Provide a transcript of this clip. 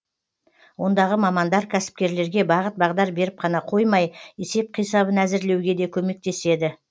ондағы мамандар кәсіпкерлерге бағыт бағдар беріп қана қоймай есеп қисабын әзірлеуге де көмектеседі